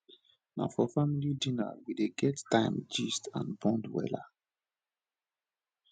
na for family dinner we dey get time gist and bond wella